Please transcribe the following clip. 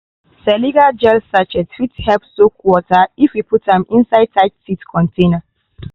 silica gel sachet fit help soak water if you put am inside tight seed container.